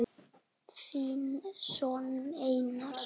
Þinn sonur Einar.